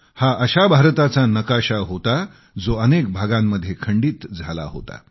हा अशा भारताचा नकाशा होता जो अनेक भागांमध्ये खंडित झाला होता